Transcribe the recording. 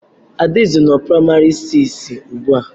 Adaeze nọ na praimari siisi ugbu a